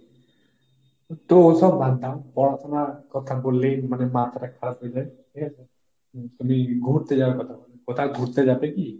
তো ওসব বাদ দাও পড়াশোনার কথা বললেই মানে মাথাটা খারাপ হয়ে যায় ঠিক আছে, তুমি ঘুরতে যাওয়ার কথা বল, কোথাও ঘুরতে যাবে কি?